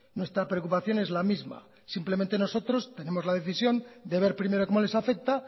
nuestra preocupación es la misma simplemente nosotros tenemos la decisión de ver primero cómo les afecta